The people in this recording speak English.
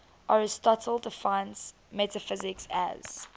aristotle defines metaphysics as